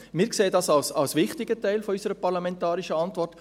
Wir sehen das als wichtigen Teil unserer parlamentarischen Arbeit.